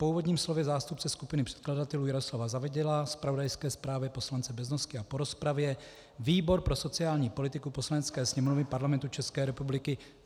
Po úvodním slově zástupce skupiny předkladatelů Jaroslava Zavadila, zpravodajské zprávě poslance Beznosky a po rozpravě výbor pro sociální politiku Poslanecké sněmovny Parlamentu České republiky